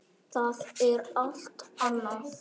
Það er allt annað.